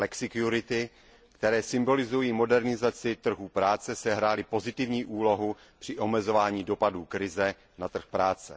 flexikurity, které symbolizují modernizaci trhů práce, sehrály pozitivní úlohu při omezování dopadů krize na trh práce.